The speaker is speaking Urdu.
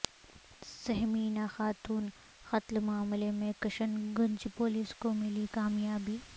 سہمینا خاتون قتل معاملہ میں کشن گنج پولس کو ملی کامیابی